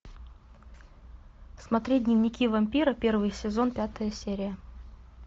смотреть дневники вампира первый сезон пятая серия